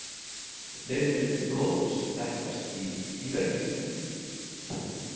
Fleiri litir blóðs þekkjast í dýraríknu.